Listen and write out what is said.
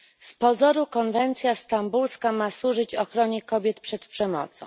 Z pozoru konwencja stambulska ma służyć ochronie kobiet przed przemocą.